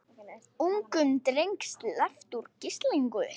Ungum dreng sleppt úr gíslingu